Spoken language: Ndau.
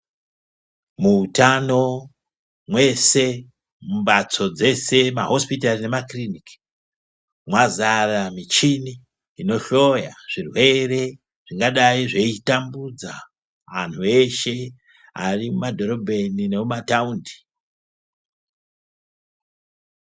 Muhutano ese mumbatso dzese mahosipitari nemakiriniki mwazara michini inohloya zvirwere zvingadai zveitambudza antu eshe Ari mumadhorobha ino nekumataundi.